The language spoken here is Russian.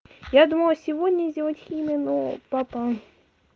я думала сегодня сделать химию но папа